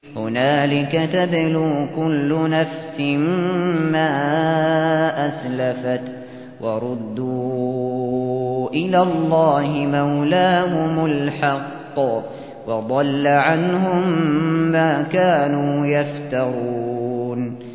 هُنَالِكَ تَبْلُو كُلُّ نَفْسٍ مَّا أَسْلَفَتْ ۚ وَرُدُّوا إِلَى اللَّهِ مَوْلَاهُمُ الْحَقِّ ۖ وَضَلَّ عَنْهُم مَّا كَانُوا يَفْتَرُونَ